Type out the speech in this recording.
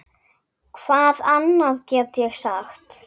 Hvað annað get ég sagt?